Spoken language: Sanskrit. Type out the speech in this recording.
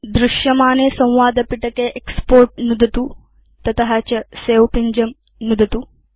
दृश्यमाने संवादपिटके एक्स्पोर्ट् नुदतु तत च सवे पिञ्जं नुदतु